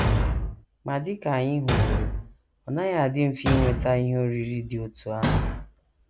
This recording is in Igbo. Ma dị ka anyị hụworo, ọ naghị adị mfe inweta ihe oriri dị otú ahụ.